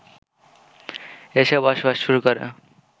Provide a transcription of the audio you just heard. এসে বসবাস শুরু করে